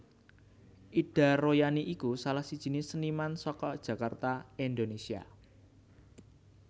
Ida Royani iku salah sijiné séniman saka Jakarta Indonèsia